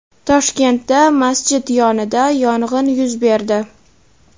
Toshkentda masjid yonida yong‘in yuz berdi.